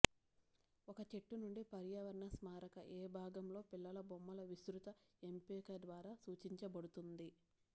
ఒక చెట్టు నుండి పర్యావరణ స్మారక ఏ భాగం లో పిల్లల బొమ్మల విస్తృత ఎంపిక ద్వారా సూచించబడుతుంది